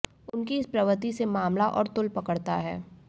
उनकी इस प्रवृत्ति से मामला और तूल पकड़ता है